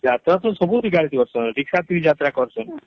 ଯାତ୍ରା ତ ସବୁଠି କରିଛେ Rickshaw ଥି ବି କରିଛେ